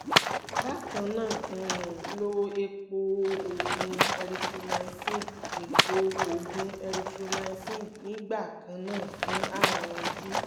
bákan náà um lo epo-oògùn erythromycin epo-oògùn erythromycin nígbà kan náà fún ààrùn ojú